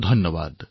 ধন্যবাদ